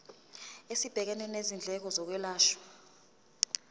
esibhekene nezindleko zokwelashwa